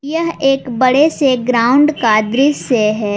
यह एक बड़े से ग्राउंड का दृश्य है।